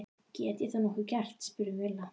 Get ég nokkuð gert? spurði Milla.